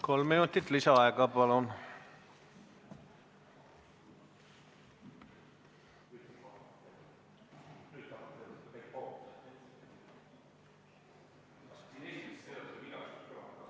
Kolm minutit lisaaega, palun!